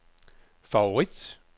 favorit